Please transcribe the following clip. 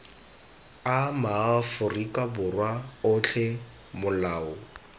a maaforika borwa otlhe molao